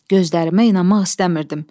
Gözlərimə inanmaq istəmirdim.